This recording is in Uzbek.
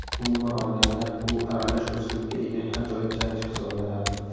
Umuman olganda u aralash uslubga ega ajoyib jangchi hisoblanadi.